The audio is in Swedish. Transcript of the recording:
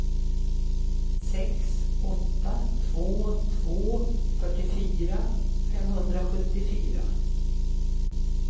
sex åtta två två fyrtiofyra femhundrasjuttiofyra